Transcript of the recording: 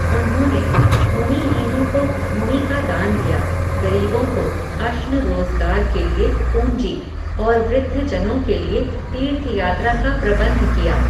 उन्होने, भूमिहीनों को भूमि का दान दिया, गरीबों को, अश्न रोज़गार के लिए, पूंजी, और वृद्धजनों के लिए, तीर्थयात्रा का प्रबन्ध किया